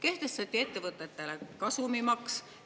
Ettevõtetele kehtestati kasumimaks.